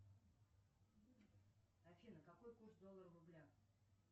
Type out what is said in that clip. афина какой курс доллара в рублях